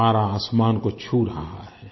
पारा आसमान को छू रहा है